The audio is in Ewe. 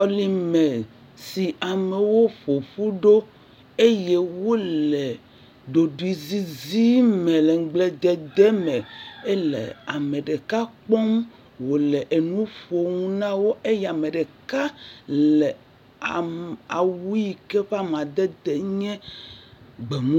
Xɔ yi me si amewo ƒo ƒu ɖo eye wole ɖoɖuizizi me le nugbledede me hele ame ɖeka kpɔm wole nu ƒom na wo eye ame ɖeka awu yi ke eƒe amadede nye gbemumu.